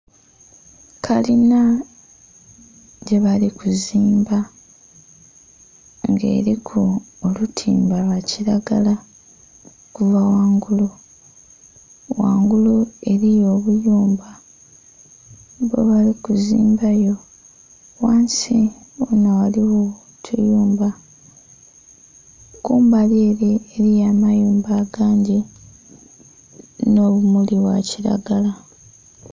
Kalina gyebali kuzimba nga eliku olutimba lwa kilagala okuva ghangulu. Ghangulu eliyo obuyumba bwebali kuzimbayo. Ghansi ghona ghaligho otuyumba. Kumbali ele eliyo amayumba agandhi nh'obumuli bwa kilagala.